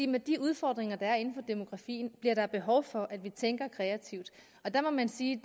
med de udfordringer der er inden for demografien bliver der behov for at vi tænker kreativt og der må man sige